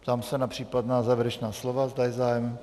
Ptám se na případná závěrečná slova, zda je zájem.